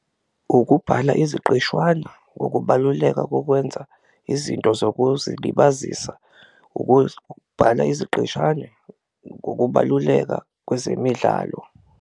Ukubhala iziqeshwana, ukubaluleka kokwenza izinto zokuzilibazisa, ukubhala iziqeshana ukubaluleka kwezemidlalo.